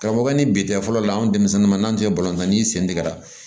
Ka fɔ k'an ni bitɛrɛ la an denmisɛnninw n'an tun tɛ bɔ tan i sentigɛ la